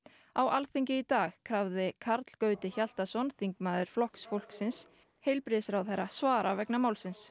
á þingi í dag krafði Karl Gauti Hjaltason þingmaður Flokks fólksins heilbrigðisráðherra svara vegna málsins